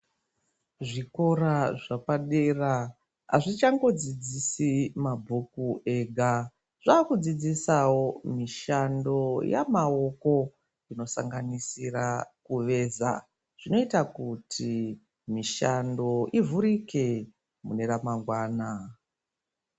Zvikora zvapadera hazvichangodzidzisi mabhuku ega, zvakudzidzisavo mishando yamaoko. Inosanganisira kuveza zvinota kuti mishando ivhurike neramangwana.